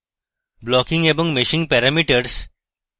blocking এবং meshing parameters